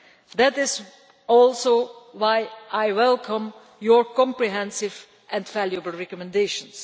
That is also why I welcome your comprehensive and valuable recommendations.